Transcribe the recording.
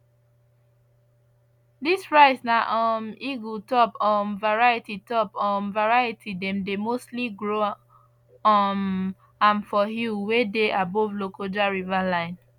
this rice na um eagle top um variety top um variety dem dey mostly grow um am for hill wey dey above lokoja river line